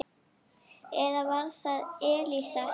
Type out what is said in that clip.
Eða var það Elísa?